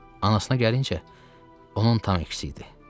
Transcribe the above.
Anasına gəlincə, onun tam əksisi idi.